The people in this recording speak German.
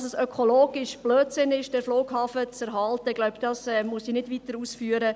Dass es ein ökologischer Blödsinn ist, den Flughafen zu erhalten – ich glaube, dies muss ich nicht weiterausführen;